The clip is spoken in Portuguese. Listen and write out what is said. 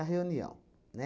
reunião, né?